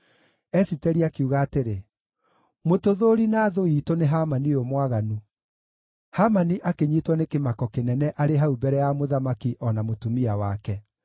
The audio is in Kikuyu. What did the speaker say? Esiteri akiuga atĩrĩ, “Mũtũthũũri na thũ iitũ nĩ Hamani ũyũ mwaganu.” Hamani akĩnyiitwo nĩ kĩmako kĩnene arĩ hau mbere ya mũthamaki o na mũtumia wake.